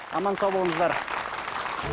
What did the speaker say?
аман сау болыңыздар